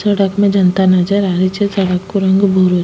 सड़क में जनता नजर आ रही छे सड़क को रंग भूरो --